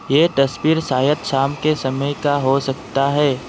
ये तस्वीर शायद शाम के समय का हो सकता है।